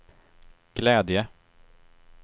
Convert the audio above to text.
glädje